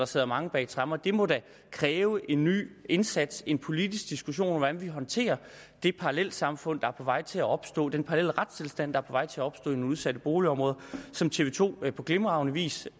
sidder mange bag tremmer det må da kræve en ny indsats en politisk diskussion om hvordan vi håndterer det parallelsamfund der er på vej til at opstå den parallelle retstilstand der er på vej til at opstå i nogle udsatte boligområder som tv to på glimragende vis